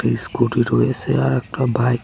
scooty রয়েসে আরেকটা bike --